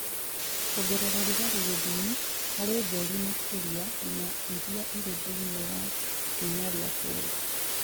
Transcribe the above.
Kwongerera ũrugarĩ gĩthimi harĩ ũtheri makĩria ya iria irĩ thĩinĩ wa ikinya rĩa kerĩ.